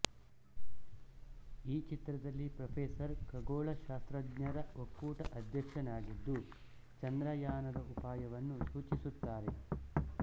ಈ ಚಿತ್ರದಲ್ಲಿ ಪ್ರೊಫ಼ೆಸರ್ ಖಗೋಳಶಾಸ್ತ್ರಜ್ಞರ ಒಕ್ಕೂಟ ಅಧ್ಯಕ್ಷನಾಗಿದ್ದು ಚಂದ್ರಯಾನದ ಉಪಾಯವನ್ನು ಸೂಚಿಸುತ್ತಾರೆ